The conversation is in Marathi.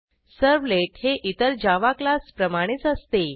सर्व्हलेट हे इतर जावा क्लास प्रमाणेच असते